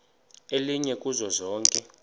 elinye kuzo zonke